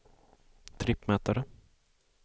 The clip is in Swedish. trippmätare